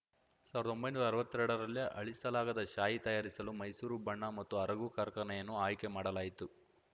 ಸಾವ್ರ್ದಾ ಒಂಬೈನೂರಾ ಅರ್ವತ್ತೆರಡ ರಲ್ಲಿ ಅಳಿಸಲಾಗದ ಶಾಯಿ ತಯಾರಿಸಲು ಮೈಸೂರು ಬಣ್ಣ ಮತ್ತು ಅರಗು ಕಾರ್ಖಾನೆಯನ್ನು ಆಯ್ಕೆ ಮಾಡಲಾಯಿತು